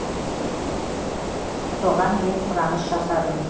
соған мен сұраныс жасадым